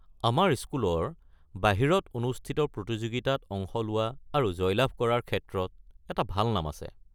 আমাৰ স্কুলৰ বাহিৰত অনুষ্ঠিত প্ৰতিযোগিতাত অংশ লোৱা আৰু জয়লাভ কৰাৰ ক্ষেত্ৰত এটা ভাল নাম আছে।